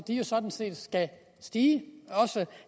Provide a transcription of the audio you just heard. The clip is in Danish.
sådan set skal stige også